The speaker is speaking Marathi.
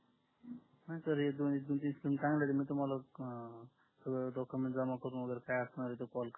हा हे एक दोन दिवसात तुम्हाला सगडे डॉक्युमेंट जमा करून काही अडचण आली तर तुम्हाला कॉल करतो